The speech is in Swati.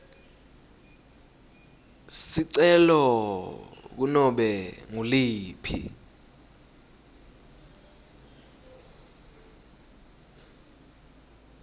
sicelo kunobe nguliphi